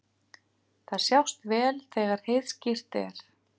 Þær sjást vel þegar heiðskírt er.